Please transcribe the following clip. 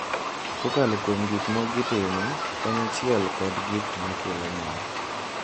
kokalo kuom gik ma gitimo kanyachiel kod gik ma kelo mor.